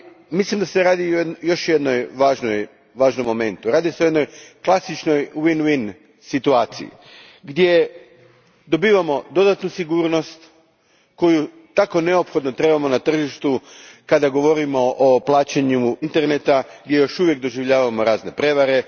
Mislim da se radi o još jednom važnom momentu klasičnoj win win situaciji gdje dobivamo dodatnu sigurnost koju tako neophodno trebamo na tržištu kada govorimo o plaćanjima putem interneta gdje još uvijek doživljavamo razne prevare.